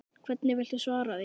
Hvernig viltu svara því?